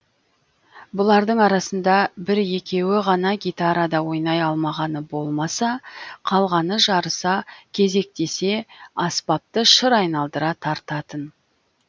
бұлардың арасында бір екеуі ғана гитарада ойнай алмағаны болмаса қалғаны жарыса кезектесе аспапты шыр айналдыра тартатын